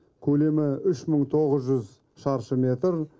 көлемі үш мың тоғыз жүз шаршы метр